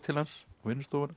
á vinnustofuna